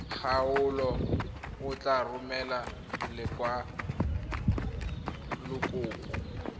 kgaolo o tla romela lekwalokopo